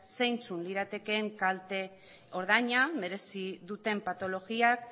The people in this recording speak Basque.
zeintzuk liratekeen kalte ordaina merezi duten patologiak